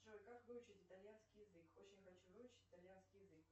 джой как выучить итальянский язык очень хочу выучить итальянский язык